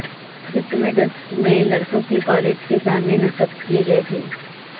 مجسمے ڈسکہ میں لڑکوں کے کالج کے سامنے نصب کیے گئے تھے